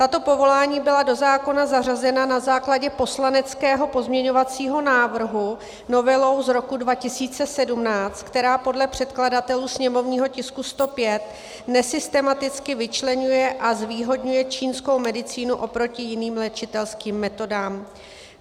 Tato povolání byla do zákona zařazena na základě poslaneckého pozměňovacího návrhu novelou z roku 2017, která podle předkladatelů sněmovního tisku 105 nesystematicky vyčleňuje a zvýhodňuje čínskou medicínu oproti jiným léčitelským metodám.